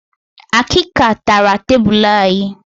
Akịka tara tebulu anyị